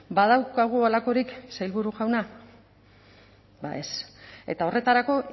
badaukagu halakorik sailburu jauna ba ez eta horretarako